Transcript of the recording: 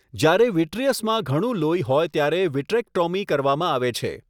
જ્યારે વિટ્રીયસમાં ઘણું લોહી હોય ત્યારે વિટ્રેક્ટોમી કરવામાં આવે છે.